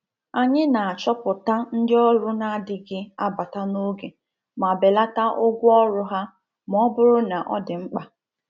Anyị na-achọpụta ndị ọrụ na-adịghị abata n'oge ma belata ụgwọ ọrụ ha ma ọ bụrụ na ọ dị mkpa.